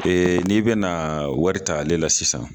n'i bɛna wari ta ale la sisan